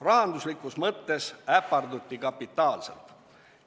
Rahanduslikus mõttes äparduti kapitaalselt.